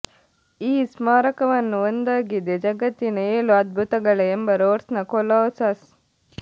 ಈ ಸ್ಮಾರಕವನ್ನು ಒಂದಾಗಿದೆ ಜಗತ್ತಿನ ಏಳು ಅದ್ಭುತಗಳ ಎಂಬ ರೋಡ್ಸ್ನ ಕೊಲೋಸಸ್